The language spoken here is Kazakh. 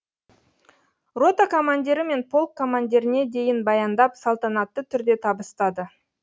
рота командирі мен полк командиріне дейін баяндап салтанатты түрде табыстады